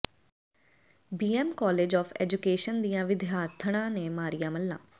BM college of education ਦੀਆਂ ਵਿਦਿਆਰਥਣਾ ਨੇ ਮਾਰੀਆਂ ਮੱਲ੍ਹਾਂ